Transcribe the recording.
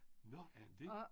Nå er han det?